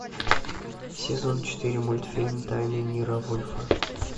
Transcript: сезон четыре мультфильм тайны ниро вульфа